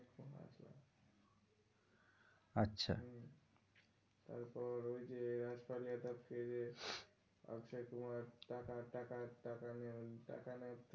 আচ্ছা তারপর ওই যে রাজ পাল যাদবকে অক্ষয় কুমার টাকা টাকা টাকা নিয়ে দেখানো।